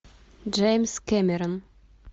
джеймс кэмерон